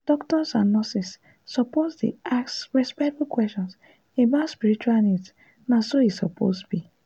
ah doctors and nurses suppose dey ask respectful questions about spiritual needs na so e suppose be.